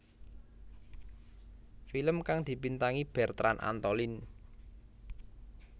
Film kang dibintangi Bertrand Antolin